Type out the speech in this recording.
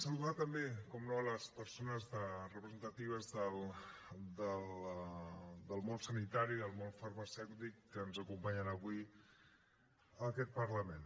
saludar també naturalment les persones representatives del món sanitari i del món farmacèutic que ens acompanyen avui en aquest parlament